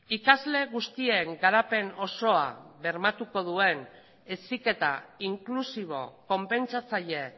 ikasle guztien garapen osoa bermatuko duen heziketa inklusibo konpentsatzaile